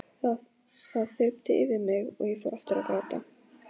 Sér strax að það er haldlítil afsökun.